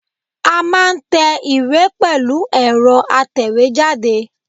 A máa n te ìwé pẹ̀lú èro atèwé jáde